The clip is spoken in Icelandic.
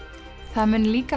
það munu líka